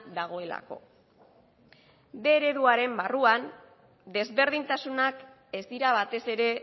dagoelako bostehun ereduaren barruan desberdintasunak ez dira batez ere